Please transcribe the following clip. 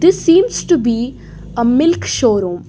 This seems to be a milk showroom.